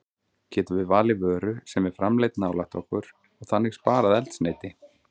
Getum við valið vöru sem er framleidd nálægt okkur og þannig sparað eldsneyti?